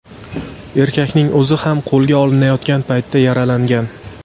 Erkakning o‘zi ham qo‘lga olinayotgan paytda yaralangan.